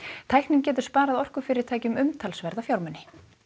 tæknin getur sparað orkufyrirtækjum umtalsverða fjármuni